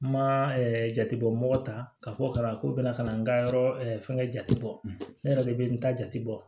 N ma jate bɔ mɔgɔ ta ka fɔ ka ban ko bɛna kana n ka yɔrɔ fɛngɛ jate bɔ ne yɛrɛ de bɛ n ta jate bɔ